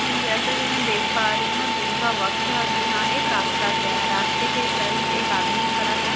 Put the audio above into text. जैसा कि मैं देख पा रही हूँ दिन का वक्त है और यहाँ एक रास्‍ता गया है रास्‍ते के करीब एक आदमी खड़ा है।